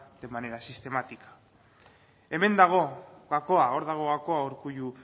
de manera sistemática hemen dago gakoa hor dago gakoa urkullu